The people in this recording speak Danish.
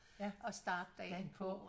At starte dagen på